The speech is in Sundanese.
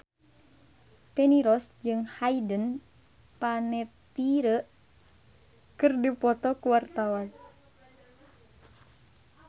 Feni Rose jeung Hayden Panettiere keur dipoto ku wartawan